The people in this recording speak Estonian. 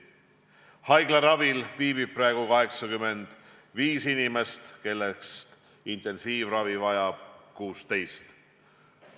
Haiglaravil viibib praegu 85 inimest, kellest intensiivravi vajab 16.